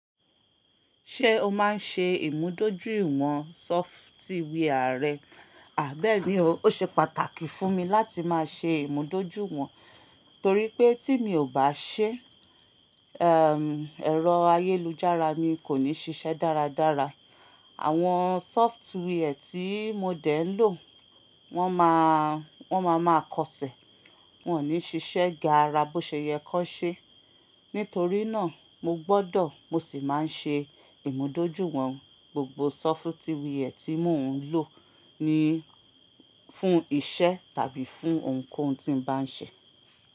Ṣé o máa ń ṣe ìmúdójúìwọ̀n sọfitwià rẹ? Bẹ́ẹ̀ni o, ó ṣe pàtàkì fún mi láti máa ṣe ìmúdójúìwọ̀n torí pé tí mi ò bá ṣe, ẹm, ẹ̀rọ ayélujára mi kò ní ṣiṣẹ́ dáradára. Àwọn sọfitwiẹ̀ tí mo dè ń lò wọ́n máa, wọ́n máa ma kọṣẹ̀, wọn ò ní ṣiṣẹ́ gaara bó ṣe yẹ kó ṣe. Nítorí náà mo gbọ́dọ̀ mo sì máa ń ṣe ìmúdójúìwọ̀n gbogbo sọfitwiẹ̀ tí mò ń lò ní, fún iṣẹ́ tàbí fún ohunkóhun tí mo bá ń ṣe.